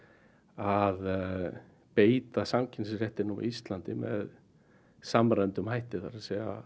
að beita samkeppnisréttinum á Íslandi með samræmdum hætti það er